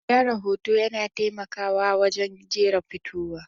Gyara hoto yana taimakawa a wajen jera fitowa.